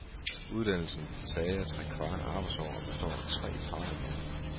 Uddannelsen tager trekvart arbejdsår og består af tre fagområder.